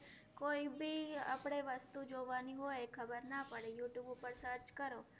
કોઈ ભી આપણે વસ્તુ જોવાની હોય, ખબર ન પડે, youtube ઉપર search કરો.